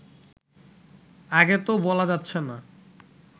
আগে তো বলা যাচ্ছে না